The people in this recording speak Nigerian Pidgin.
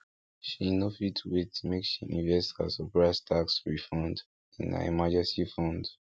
she no fit wait make she invest her surprise tax refund in her emergency fund